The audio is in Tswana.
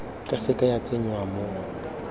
ka seke ya tsenngwa mo